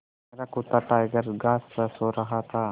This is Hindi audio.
मेरा कुत्ता टाइगर घास पर सो रहा था